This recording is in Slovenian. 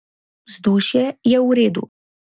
Vzdušje je v redu.